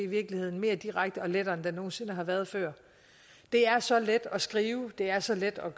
mere direkte og lettere end den nogen sinde har været før det er så let at skrive det er så let at